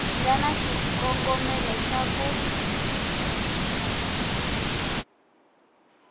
nga na xikongomelo xa ku